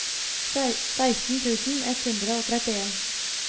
seksten tusen ett hundre og trettien